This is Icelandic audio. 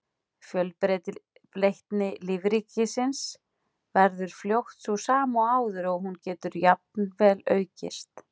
Fjölbreytni lífríkisins verður fljótt sú sama og áður og hún getur jafnvel aukist.